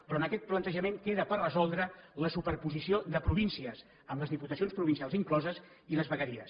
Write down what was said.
però en aquest plantejament queda per resoldre la superposició de províncies amb les diputacions provincials incloses i les vegueries